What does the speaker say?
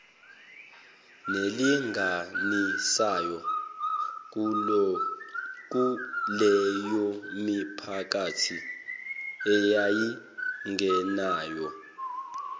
nelinganisayo kuleyomiphakathi eyayingenawo